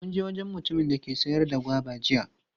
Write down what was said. Mun je wajen mutumin da ke sayar da goba jiya.